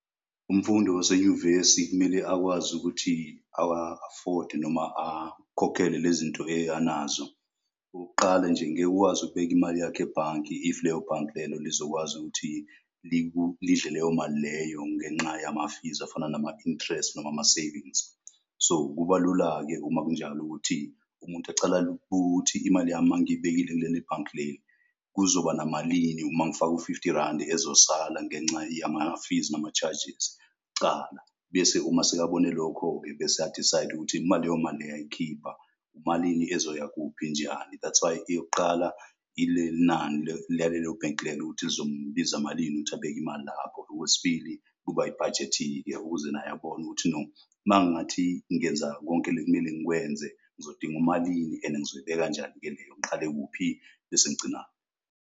Umfundi osenyuvesi kumele akwazi ukuthi awa-afode noma akhokhele le zinto anazo. Okokuqala nje ngeke ukwazi ukubeka imali yakho ebhanke. If leyo bhanke lelo lizokwazi ukuthi lidle leyo mali leyo ngenqa yamafizi afana nama-interest noma ama-savings. So, kuba lula ke uma kunjalo, ukuthi umuntu acala imali yami mangiyibekile kuleli bhanki kuzoba namalini. Uma ngifaka u-fifty randi ezosala ngenca yamafizi ama-charges kucala. Bese uma sekabone lokho-ke bese a-decide ukuthi noma leyo mali eyayikhipha malini ezoya kuphi njani. That's why eyokuqala lalelo bhenki lelo, ukuthi lizombiza malini ukuthi abeke imali lapho. Okwesibili kuba ibhajethi ukuze naye abone ukuthi, no mangingathi ngingenza konke lekumele ngikwenze. Ngizodinga umalini and ngizoyibeka kanjani-ke leyo, ngiqale kuphi bese ngigcinaphi.